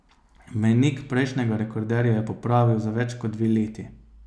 Mejnik prejšnjega rekorderja je popravil za več kot dve leti.